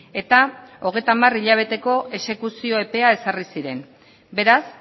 eta hogeita hamar hilabeteko exekuzio epea ezarri ziren beraz